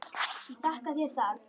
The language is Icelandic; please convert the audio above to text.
Ég þakka þér það.